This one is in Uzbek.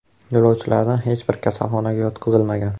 Yo‘lovchilardan hech biri kasalxonaga yotqizilmagan.